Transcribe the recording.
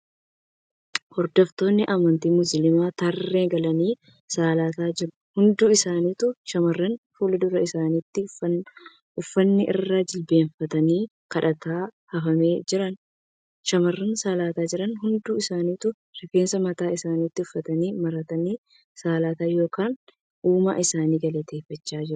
Hordoftoonni amantii Musliimaa tarree galanii salaataa jiru. Hindi isaanitu shamarraniidha. Fuuldura isaanitti uffanni irra jilbeeffatanii kadhatan hafamee jira. Shamarraan salaataa jiran hundi isaanituu rifeensa mataa isaanitti uffata maratanii salaataa yookiin uumaa isaanii galateeffachaa jiru.